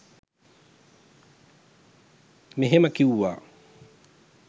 මෙහෙම කිව්වා